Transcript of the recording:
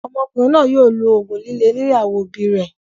Ọmọkùnrin náà yóò lo òògùn líle nílé àwọn òbí rẹ̀.